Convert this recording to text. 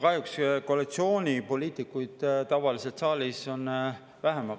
Kahjuks on koalitsioonipoliitikuid saalis tavalisest vähem.